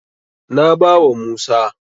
Na bawa Musa.